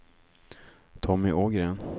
Tommy Ågren